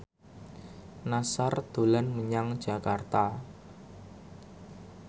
Nassar dolan menyang Jakarta